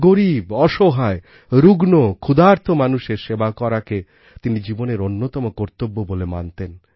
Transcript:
গরীব অসহায় রুগ্ন ক্ষুধার্ত মানুষের সেবা করাকে তিনি জীবনের অন্যতম কর্তব্য বলে মানতেন